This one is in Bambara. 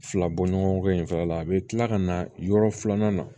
Fila bɔ ɲɔgɔn kɔ in fɛnɛ la a bɛ tila ka na yɔrɔ filanan na